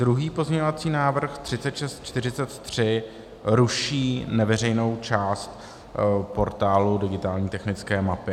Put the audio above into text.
Druhý pozměňovací návrh 3643 ruší neveřejnou část portálu digitální technické mapy.